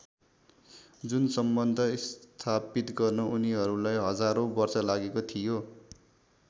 जुन सम्बन्ध स्थापित गर्न उनीहरूलाई हजारौँ वर्ष लागेको थियो।